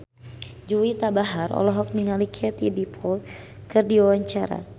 Juwita Bahar olohok ningali Katie Dippold keur diwawancara